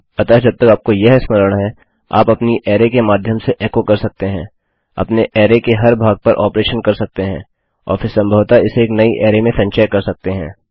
अतः जब तक आपको यह स्मरण है आप अपनी अरै के माध्यम से एको कर सकते हैं अपने अरै के हर एक भाग पर ऑपरेशन कर सकते हैं और फिर सम्भवतः इसे एक नई अरै में संचय कर सकते हैं